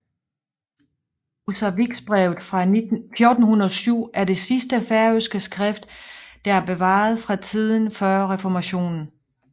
Húsavíksbrevet fra 1407 er det sidste færøske skrift der er bevaret fra tiden før reformationen